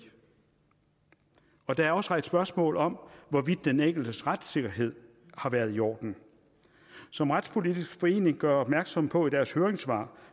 der er også rejst spørgsmål om hvorvidt den enkeltes retssikkerhed har været i orden som retspolitisk forening gør opmærksom på i deres høringssvar